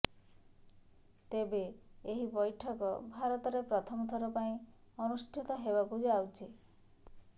ତେବେ ଏହି ବୈଠକ ଭାରତରେ ପ୍ରଥମ ଥର ପାଇଁ ଅନୁଷ୍ଠିତ ହେବାକୁ ଯାଉଛି